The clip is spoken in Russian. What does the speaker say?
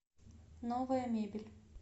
новая мебель